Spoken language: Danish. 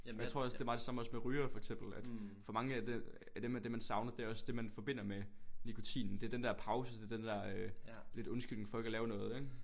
Jamen jeg tror også det er meget det samme også med rygere for eksempel at for mange er det man er det man der man savner det er det man forbinder med nikotinen det er den der pause det er den der øh lidt undskyldning for ikke at lave noget ik